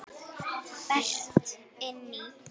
Berti inn í.